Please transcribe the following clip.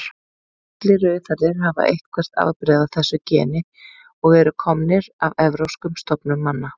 Allir rauðhærðir hafa eitthvert afbrigði af þessu geni og eru komnir af evrópskum stofnum manna.